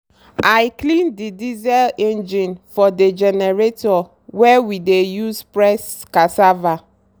i clean dey diesel engine for dey generator wey we dey use press cassava.